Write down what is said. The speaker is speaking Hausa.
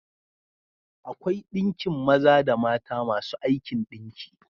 Akwai ɗinkin maza da mata masu aikin ɗinki.